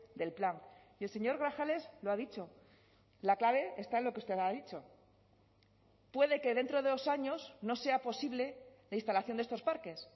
del plan y el señor grajales lo ha dicho la clave está en lo que usted ha dicho puede que dentro de dos años no sea posible la instalación de estos parques